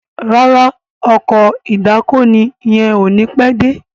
ràrá Ọkọ̀ ìdákoní yén o ní pé dé.